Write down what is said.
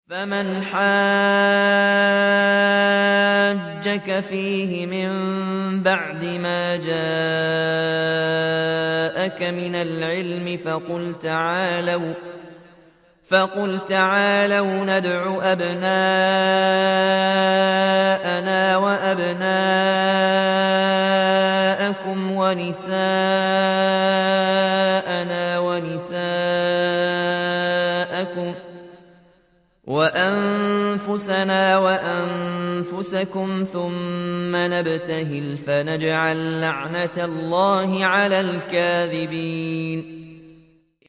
فَمَنْ حَاجَّكَ فِيهِ مِن بَعْدِ مَا جَاءَكَ مِنَ الْعِلْمِ فَقُلْ تَعَالَوْا نَدْعُ أَبْنَاءَنَا وَأَبْنَاءَكُمْ وَنِسَاءَنَا وَنِسَاءَكُمْ وَأَنفُسَنَا وَأَنفُسَكُمْ ثُمَّ نَبْتَهِلْ فَنَجْعَل لَّعْنَتَ اللَّهِ عَلَى الْكَاذِبِينَ